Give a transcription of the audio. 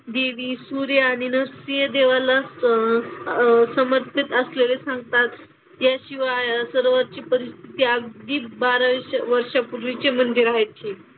देवी, सूर्य आणि नरसिंह देवाला अह समर्पित असलेले सांगतात. त्याशिवाय सरोवरची परिस्थिती अगदी बाराशे वर्षापूर्वीचे मंदिरं आहेत हि.